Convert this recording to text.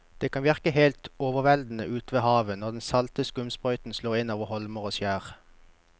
Det kan virke helt overveldende ute ved havet når den salte skumsprøyten slår innover holmer og skjær.